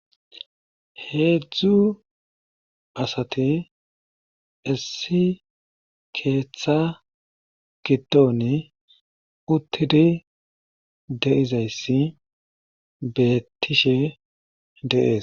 Heedzdzu asati issi keetha giddooni uttidi de7izayssi beettishe de7ees.